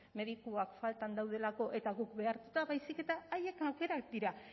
medikuak faltan daudelako eta guk behartuta baizik eta haien aukerak dira